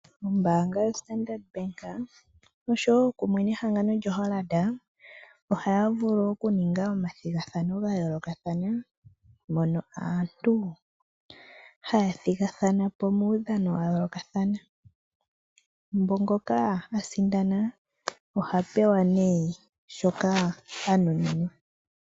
Ombaanga yoStandard Bank kumwe nehangano lyoHollard ohaya vulu okuninga omathigathanao ga yoolokathana mono aantu haya thigathana po muudhano wa yoolokathana. Ngoka a sindana oha pewa nduno shoka a nuninwa.